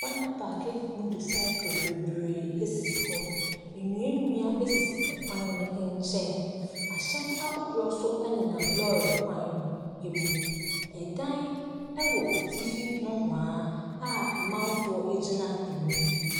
Wɔapaake motocycle bebree sisi hɔ, nnuannua sisi kwan ne nkyɛn, hyɛn ahodoɔ nso nenam lɔɔre kwan no mu. Dan wɔ atifi nohoa a amamfoɔ gyina anim.